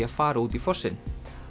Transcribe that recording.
að fara út í fossinn